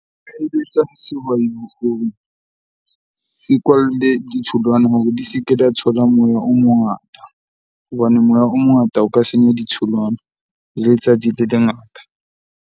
Nka eletsa sehwai se kwalle ditholwana hore di se ke di a thola moya o mongata. Hobane moya o mongata o ka senya ditholwana le letsatsi le lengata.